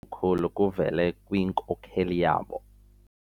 khulu kuvele kwinkokeli yabo.